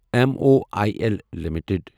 M O I L limited